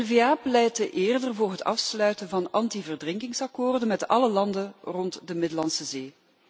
NVA pleitte eerder voor het afsluiten van antiverdrinkingsakkoorden' met alle landen rond de Middellandse Zee.